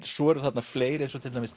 svo eru fleiri